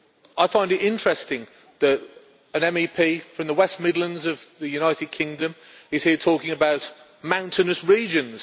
I find it interesting that an MEP from the West Midlands of the United Kingdom is here talking about mountainous regions.